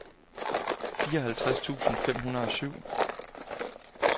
fireoghalvtreds tusind fem hundrede og syv